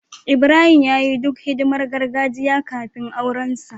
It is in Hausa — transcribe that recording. Ibrahim ya yi duk hidimar gargajiya kafin aurensa.